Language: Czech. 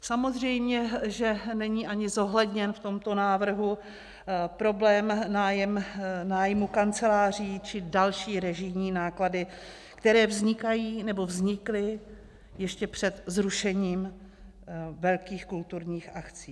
Samozřejmě že není ani zohledněn v tomto návrhu problém nájmu kanceláří či další režijní náklady, které vznikají nebo vznikly ještě před zrušením velkých kulturních akcí.